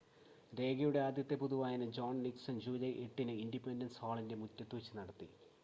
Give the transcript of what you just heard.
രേഖയുടെ ആദ്യത്തെ പൊതുവായന ജോൺ നിക്‌സൺ ജൂലൈ 8-ന് ഇൻഡിപെൻഡൻസ് ഹാളിൻ്റെ മുറ്റത്ത് വച്ച് നടത്തി